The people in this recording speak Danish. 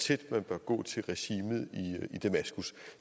tæt man bør gå til regimet i damaskus